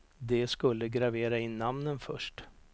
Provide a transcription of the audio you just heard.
De skulle gravera in namnen först.